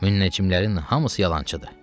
Münəccimlərin hamısı yalancıdır.